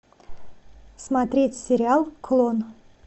смотреть сериал клон